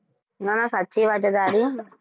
નાં ના સાચી વાત છે તારી